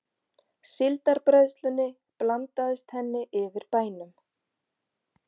Síldarbræðslunni blandaðist henni yfir bænum.